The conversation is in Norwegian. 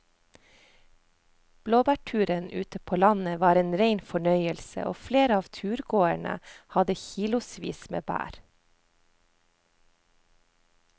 Blåbærturen ute på landet var en rein fornøyelse og flere av turgåerene hadde kilosvis med bær.